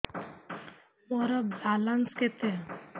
ମୋର ବାଲାନ୍ସ କେତେ